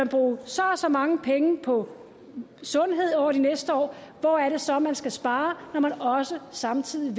bruge så og så mange penge på sundhed over de næste år hvor er det så man skal spare når man også samtidig